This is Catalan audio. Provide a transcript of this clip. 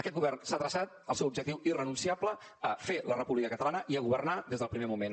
aquest govern s’ha traçat al seu objectiu irrenunciable a fer la república catalana i a governar des del primer moment